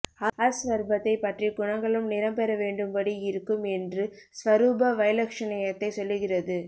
as ஸ்வரூபத்தைப் பற்றி குணங்களும் நிறம் பெறவேண்டும்படி இருக்கும் என்று ஸ்வரூப வைலக்ஷண்யத்தைச் சொல்லுகிறது